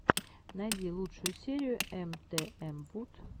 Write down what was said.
найди лучшую серию эмтээмвуд